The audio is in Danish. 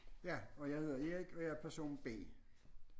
Ja og jeg hedder Erik og jeg er person B